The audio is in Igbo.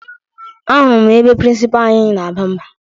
Ahụrụ m ebe prịnsịpaa anyị na-aba mba